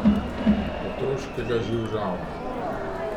Otroškega živžava.